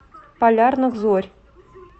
полярных зорь